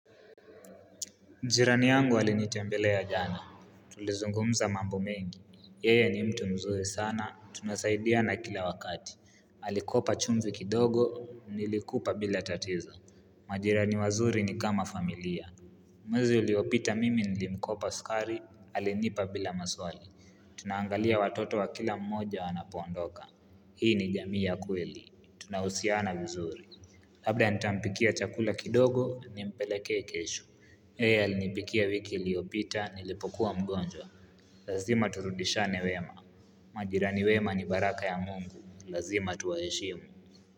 Jirani yangu alinitembelea jana tulizungumza mambo mengi, yeye ni mtu mzuri sana tunasaidiana kila wakati alikopa chumzi kidogo nilikupa bila tatizo majirani wazuri ni kama familia Mwezi uliopita mimi nilimkopa sukari alinipa bila maswali. Tunaangalia watoto wa kila mmoja wanapoondoka Hii ni jamii ya kweli tunahusiana vizuri Labda nitampikia chakula kidogo, nimpelekee kesho Yeye alinipikia wiki iliyopita, nilipokuwa mgonjwa Lazima turudishane wema. Majirani wema ni baraka ya Mungu. Lazima tuwaheshimu.